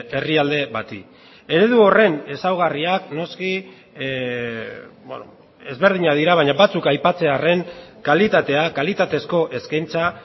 herrialde bati eredu horren ezaugarriak noski ezberdinak dira baina batzuk aipatzearren kalitatea kalitatezko eskaintza